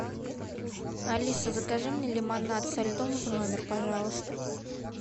алиса закажи мне лимонад со льдом в номер пожалуйста